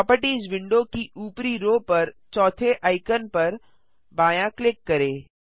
properties window की ऊपरी row पर चौथे आइकन पर बायाँ क्लिक करें